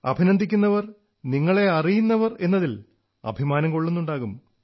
അഭിനന്ദിക്കുന്നവർ നിങ്ങളെ അറിയുന്നവർ എന്നതിൽ അഭിമാനം കൊള്ളുന്നുണ്ടാകും